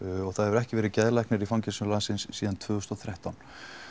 og það hefur ekki verið geðlæknir í fangelsum landsins síðan tvö þúsund og þrettán